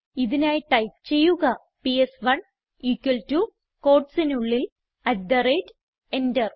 ഇതിനായി ടൈപ്പ് ചെയ്യുക PS one equal to quotesനുള്ളിൽ അട്ട് തെ റേറ്റ് എന്റർ